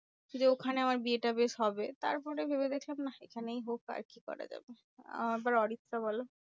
যে, ওখানে আমার বিয়েটা বেশ হবে তারপরে ভেবে দেখলাম, নাহ এখানেই হোক আর কি করা যাবে? আহ এবার অরিত্রা বলো?